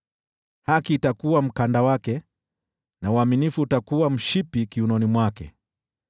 Haki itakuwa mkanda wake na uaminifu utakuwa mshipi kiunoni mwake.